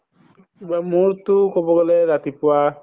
কিবা মোৰতো কব গলে ৰাতিপুৱা